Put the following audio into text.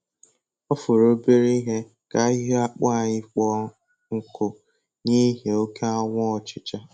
Ọ fọrọ obere ihe ka ahịhịa akpụ anyị kpọọ nkụ n'ihi oke anwụ ọchịcha